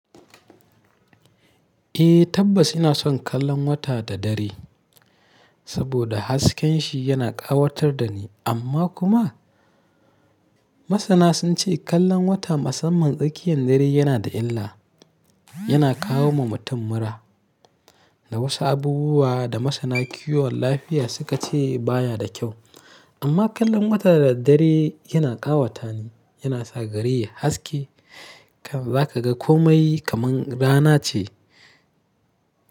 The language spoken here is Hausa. Eh tabbas ina son kallon wata da dare saboda hasken shi yana ƙawatar da ni. Amma kuma masana sun ce kallon wata musamman tsakiyan dare yana da illa, yana kawo wa mutum mura da wasu abubuwa da masana kiwon lafiya suka ce baya da kyau. Amma kallon wata da dare yana ƙawata ni, yana sa gari yai haske, zaka ga komai kaman rana ce.